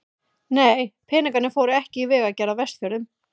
Nei, peningarnir fóru ekki í vegagerð á Vestfjörðum.